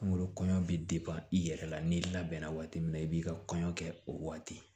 Kunkolo kɔɲɔ bi i yɛrɛ la n'i labɛnna waati min na i b'i ka kɔɲɔ kɛ o waati